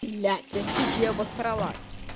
блять я чуть не обосралась